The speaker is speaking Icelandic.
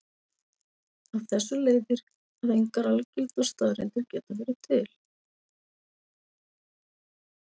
Af þessu leiðir að engar algildar staðreyndir geta verið til.